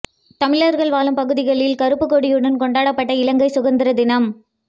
தமிழர்கள் வாழும் பகுதியில் கறுப்புக் கொடியுடன் கொண்டாடப்பட்ட இலங்கை சுதந்திர தினம்